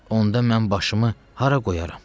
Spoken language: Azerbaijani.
Onda mən başımı hara qoyaram?